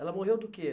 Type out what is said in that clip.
Ela morreu do quê?